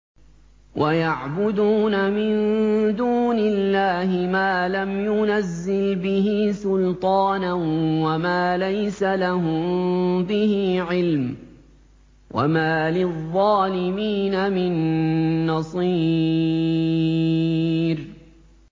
وَيَعْبُدُونَ مِن دُونِ اللَّهِ مَا لَمْ يُنَزِّلْ بِهِ سُلْطَانًا وَمَا لَيْسَ لَهُم بِهِ عِلْمٌ ۗ وَمَا لِلظَّالِمِينَ مِن نَّصِيرٍ